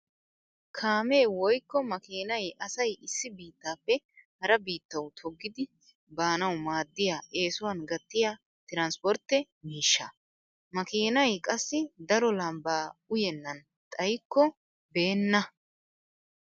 Kaamee woykko makiinay asay issi biittappe hara biittawu toggidi baanawu maaddiya eesuwan gattiya tiranspportte miishsha. Makiinay qassi daro lambbaa uyennan xayikko beenna.